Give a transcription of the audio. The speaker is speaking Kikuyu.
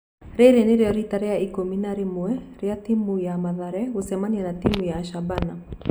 Rĩrĩ nĩrĩo rita rĩa ikũmĩ na rĩmwe rĩa timũ ya Mathare gũcemanĩa na timũ ya Shabana.